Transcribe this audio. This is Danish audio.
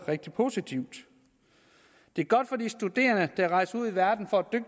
rigtig positivt det er godt for de studerende der rejser ud i verden for